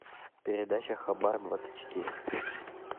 передача хабар двадцать четыре